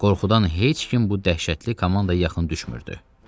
Qorxudan heç kim bu dəhşətli komandaya yaxın düşmürdü.